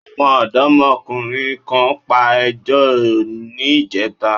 Àwọn ọ̀dọ́mọkùnrin kan pa ejò ní ìjẹta.